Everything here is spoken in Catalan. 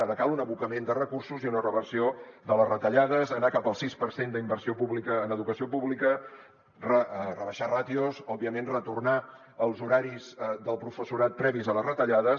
ara cal un abocament de recursos i una reversió de les retallades anar cap al sis per cent d’inversió pública en educació pública rebaixar ràtios òbviament retornar als horaris del professorat previs a les retallades